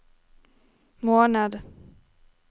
måned